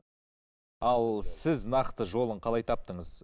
ал сіз нақты жолын қалай таптыңыз